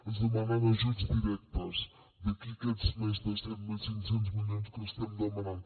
ens demanen ajuts directes d’aquí aquests més de set mil cinc cents milions que estem demanant